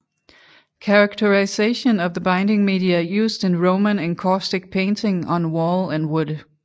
Characterization of the binding media used in Roman encaustic painting on wall and wood